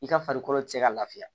I ka farikolo tɛ se ka lafiya